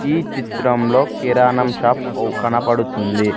ఈ చిత్రంలో కిరాణం షాప్ అవు కనపడుతుంది.